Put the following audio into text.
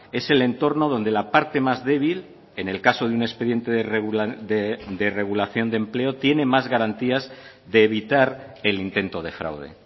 es el entorno donde la parte más débil en el caso de un expediente de regulación de empleo tiene más garantías de evitar el intento de fraude